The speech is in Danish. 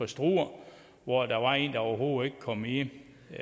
struer hvor der var en der overhovedet ikke kom i